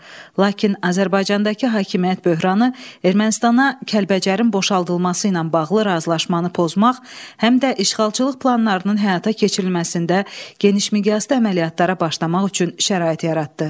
Lakin Azərbaycandakı hakimiyyət böhranı Ermənistana Kəlbəcərin boşaldılması ilə bağlı razılaşmanı pozmaq, həm də işğalçılıq planlarının həyata keçirilməsində genişmiqyaslı əməliyyatlara başlamaq üçün şərait yaratdı.